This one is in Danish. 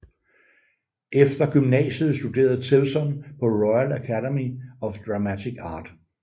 Efter gymnasiet studerede Tewson på Royal Academy of Dramatic Art